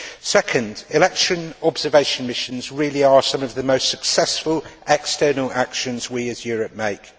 Second, election observation missions really are some of the most successful external actions we as Europe make.